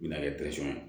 Na ye